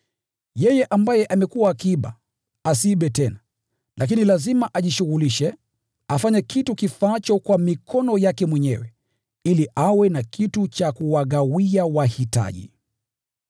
Yeye ambaye amekuwa akiiba, asiibe tena, lakini lazima ajishughulishe, afanye kitu kifaacho kwa mikono yake mwenyewe, ili awe na kitu cha kuwagawia wahitaji.